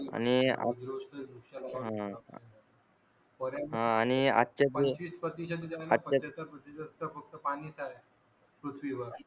आता फक्त पाणीच आहे पृथ्वीवर